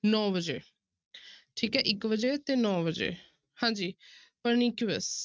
ਨੋਂ ਵਜੇ ਠੀਕ ਹੈ ਇੱਕ ਵਜੇ ਤੇ ਨੋਂ ਵਜੇ ਹਾਂਜੀ pernicious